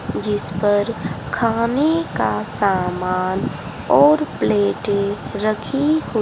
जिस पर खाने का सामान और प्लेटे रखी हुई--